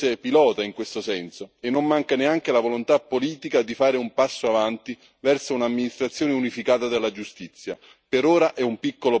Non mancano esperienze pilota in questo senso e non manca neanche la volontà politica di fare un passo avanti verso un'amministrazione unificata della giustizia.